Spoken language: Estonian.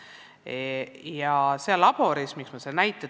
Miks ma selle labori näite tõin?